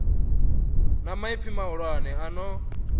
na maipfi mahulwane a no